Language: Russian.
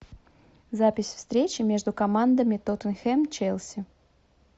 запись встречи между командами тоттенхэм челси